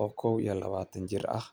oo kow iyo labatan jir ah.